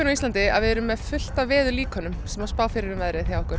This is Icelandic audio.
á Íslandi að við erum með fullt af veðurlíkönum sem að spá fyrir um veðrið hjá okkur